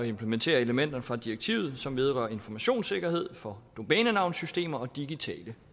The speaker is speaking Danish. implementere elementer fra direktivet som vedrører informationssikkerhed for domænenavnsystemer og digitale